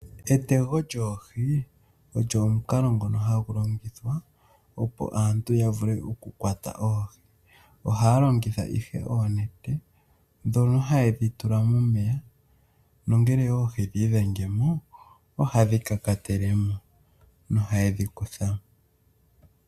Etego lyoohi olyo omukalo ngono hagu longithwa opo aantu ya vule oku kwata oohi. Ohaya longitha ihe oonete ndhono ha ye dhi tula momeya nongele oohi dhi idhengemo ohadhi kakatele mo noha ye dhi kutha mo.